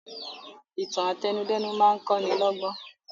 Ìtàn àtẹnudẹ́nu máa kọ́ ni lọ́gbọ́n